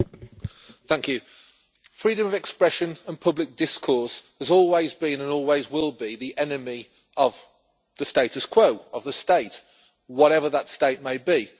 Madam President, freedom of expression and public discourse has always been, and always will be, the enemy of the status quo of the state whatever that state may be.